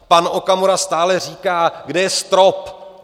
Pan Okamura stále říká, kde je strop?